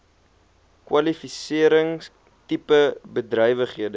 kwalifisering tipe bedrywighede